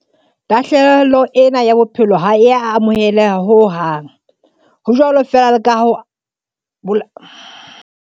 Tahlehelo ena ya bophelo ha e a amoheleha ho hang, ho jwalo feela le ka ho bolawa ha Moafrika wa habo rona ya tswang Zimbabwe tlasa maemo a belaellwang e le a maqulwana a inketseng molao matsohong.